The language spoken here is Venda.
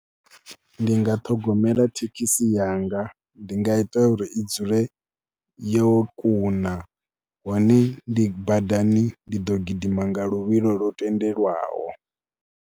Ndi nga ṱhogomela thekhisi yanga, ndi nga ita uri i dzule yo kuna hone ndi badani ndi ḓo gidima nga luvhilo lu tendelwaho.